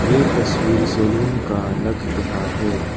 ये तस्वीर सैलून का लग रहा है।